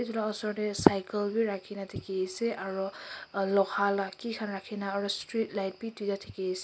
etu la osor dae cycle bhi rakhina dekhe ase aro loha la ki khan rakhina aro street light bhi duida dekhe ase.